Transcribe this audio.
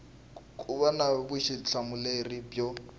ku va na vutihlamuleri byo